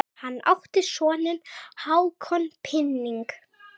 Hann átti soninn Hákon Píning.